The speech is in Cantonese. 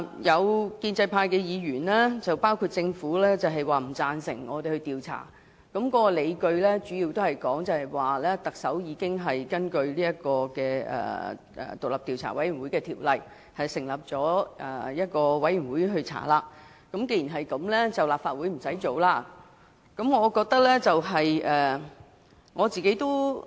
有建制派議員甚至政府都不贊成立法會展開調查，主要的理據是特首已根據《調查委員會條例》成立獨立調查委員會展開調查，所以立法會無須另行再作調查。